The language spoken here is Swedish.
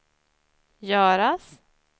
göras